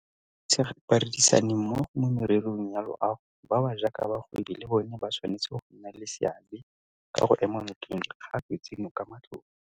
Badirisanimmogo mo mererong ya loago ba ba jaaka bagwebi le bona ba tshwanetse go nna le seabe ka go ema nokeng dikgato tseno ka matlole.